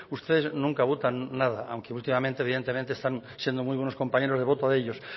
ustedes nunca votan nada aunque últimamente evidentemente están siendo muy buenos compañeros de voto de ellos